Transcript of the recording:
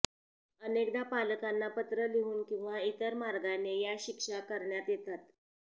अनेकदा पालकांना पत्र लिहून किंवा इतर मार्गाने या शिक्षा करण्यात येतात